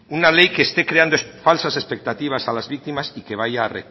una ley que esté creando falsas expectativas a las víctimas y que vaya a